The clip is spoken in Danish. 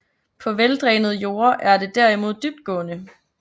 På veldrænede jorde er det derimod dybtgående